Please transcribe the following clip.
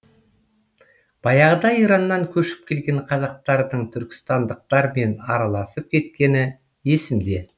баяғыда ираннан көшіп келген қазақтардың түркістандықтармен араласып кеткені есімде